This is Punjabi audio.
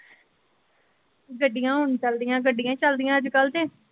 ਗੱਡੀਆਂ ਹੁਣ ਚਲਦੀਆਂ ਗੱਡੀਆਂ ਹੀ ਚਲਦਿਆਂ ਅੱਜ ਕੱਲ ਕੇ।